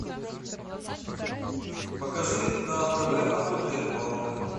покажи на тв охота и рыбалка